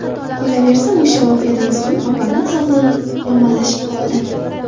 Qolaversa, o‘sha voqeadan so‘ng opamning sog‘lig‘i yomonlashib qoldi.